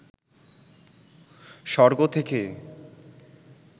স্বর্গ থেকে